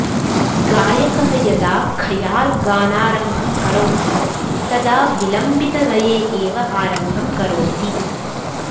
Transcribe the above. गायकः यदा खयाल् गानारम्भं करोति तदा विलम्बितलये एव आरम्भं करोति